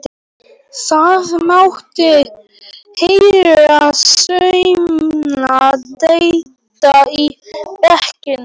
Það mátti heyra saumnál detta í bekknum.